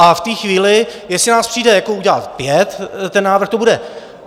A v té chvíli, jestli nás přijde udělat pět ten návrh, to bude...